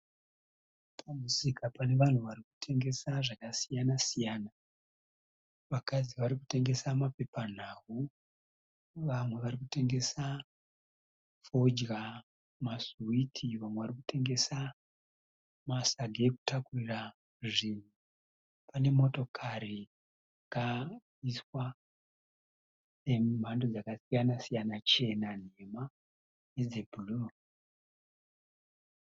Pamusika pane vanhu varikutengesa zvakasiyana- siyana. Vakadzi varikutengesa mapepa nhau. Vamwe varikutengesa fodya, masiwiti vamwe varikutengesa masagi ekutakurira zvinhu. Pane motokari dziriku haiswa dzemhando dzakasiyana-siyana chena, nhema nedze bhuruu.